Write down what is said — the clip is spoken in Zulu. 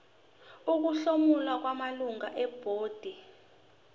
ukuhlomula kwamalungu ebhodi